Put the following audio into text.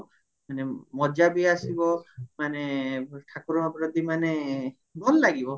ମାନେ ମଜା ବି ଆସିବ ମାନେ ଠାକୁର ଫାକୁର ଯଦି ମାନେ ଭଲ ଲାଗିବ